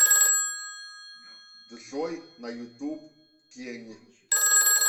джой на ютуб тень